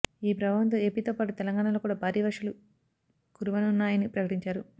ఈ ప్రభావంతో ఏపీతో పాటు తెలంగాణలో కూడా భారీ వర్షాలు కురివనున్నాయని ప్రకటించారు